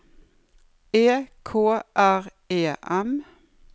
E K R E M